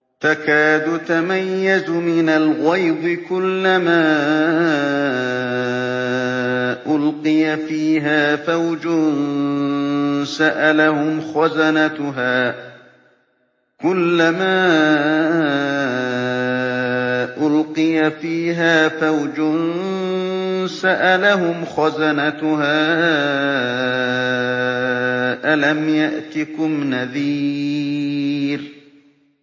تَكَادُ تَمَيَّزُ مِنَ الْغَيْظِ ۖ كُلَّمَا أُلْقِيَ فِيهَا فَوْجٌ سَأَلَهُمْ خَزَنَتُهَا أَلَمْ يَأْتِكُمْ نَذِيرٌ